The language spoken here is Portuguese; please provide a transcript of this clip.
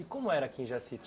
E como era aqui em Jaci?